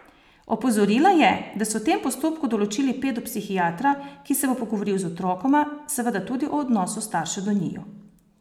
Opozorila je, da so v tem postopku določili pedopsihiatra, ki se bo pogovoril z otrokoma, seveda tudi o odnosu staršev do njiju.